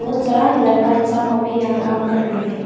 लड़का इंसान लोग भी यहां काम कर रहा है।